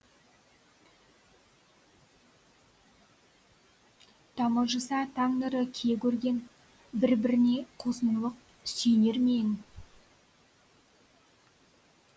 тамылжыса таң нұры кие көрген бір біріне қос мұңлық сүйенер ме ең